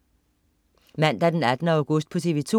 Mandag den 18. august - TV 2: